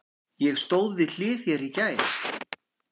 Ég stóð við hlið þér í gær.